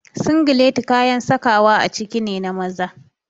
Singileti kayan sakawa a ciki ne na maza.